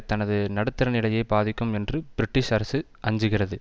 தனது நடுத்தரநிலையை பாதிக்கும் என்று பிரிட்டிஷ் அரசு அஞ்சுகிறது